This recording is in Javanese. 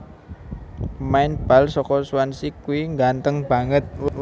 Pemain bal soko Swansea kui ngganteng banget